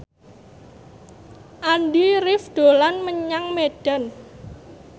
Andy rif dolan menyang Medan